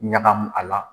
Ɲagamu a la